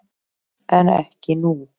En ekki nú.